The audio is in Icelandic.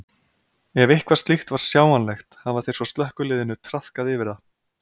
Ef eitthvað slíkt var sjáanlegt hafa þeir frá slökkviliðinu traðkað yfir það.